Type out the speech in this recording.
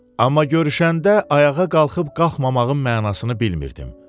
Amma görüşəndə ayağa qalxıb qalxmamağımın mənasını bilmirdim.